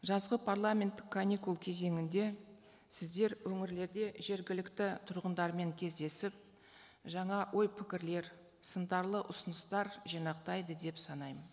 жазғы парламенттік каникул кезеңінде сіздер өңірлерде жергілікті тұрғындармен кездесіп жаңа ой пікірлер сындарлы ұсыныстар жинақтайды деп санаймын